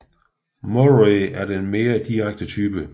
Murray er den mere direkte type